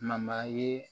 ye